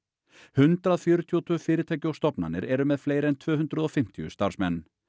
hundrað fjörutíu og tvö fyrirtæki og stofnanir eru með fleiri en tvö hundruð og fimmtíu starfsmenn